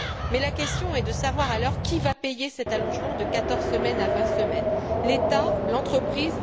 Mais la question est de savoir alors qui va payer cet allongement de quatorze semaines à vingt semaines l'État, l'entreprise?